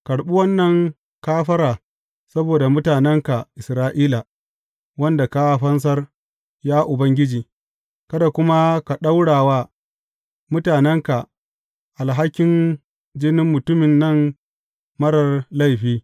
Karɓi wannan kafara saboda mutanenka Isra’ila, wanda ka fansar, ya Ubangiji, kada kuma ka ɗaura wa mutanenka alhakin jinin mutumin nan marar laifi.